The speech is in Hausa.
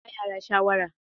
I mana! Zan iya ba yara shawara.